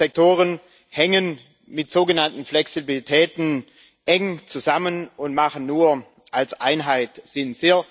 Alle Sektoren hängen mit sogenannten Flexibilitäten eng zusammen und machen nur als Einheit Sinn.